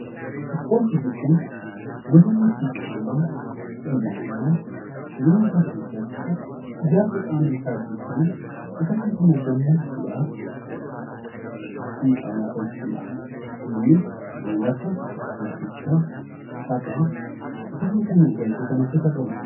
Ispoortii jechuun gosa sochii qaamaa dhalli namaa jireenya isaa keessatti ijaarsa qaama isaatii fi akkasumas immoo gammachuudhaaf sochiin qaamaa taasisu dha. Innis, kanneen akka fiigichaa, taphaa, akkasumas immoo utaalchoo kan of keessaa qabuu dha.